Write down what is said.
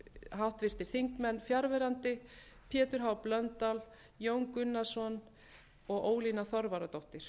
háttvirtir þingmenn fjarverandi pétur h blöndal jón gunnarsson og ólína þorvarðardóttir